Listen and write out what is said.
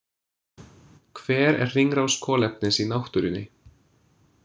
Hver er hringrás kolefnis í náttúrunni?